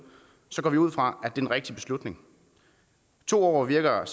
går vi ud fra at den rigtige beslutning to år virker